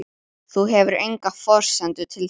Þú hefur enga forsendu til þess.